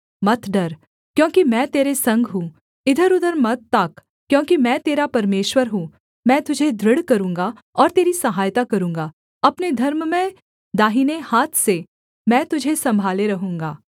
मत डर क्योंकि मैं तेरे संग हूँ इधरउधर मत ताक क्योंकि मैं तेरा परमेश्वर हूँ मैं तुझे दृढ़ करूँगा और तेरी सहायता करूँगा अपने धर्ममय दाहिने हाथ से मैं तुझे सम्भाले रहूँगा